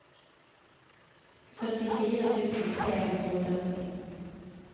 førtifire tusen tre hundre og sytten